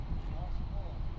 Nə iş görmək olar?